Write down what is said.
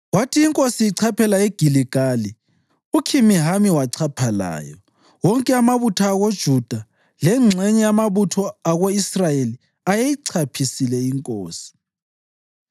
Kwathi inkosi ichaphela eGiligali, uKhimihami wachapha layo. Wonke amabutho akoJuda lengxenye yamabutho ako-Israyeli ayeyichaphisile inkosi.